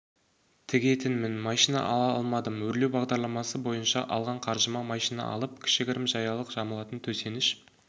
тігетінмін машина ала алмадым өрлеу бағдарламасы бойынша алған қаржыма машина алып кішігірім жаялық жамылатын төсеніш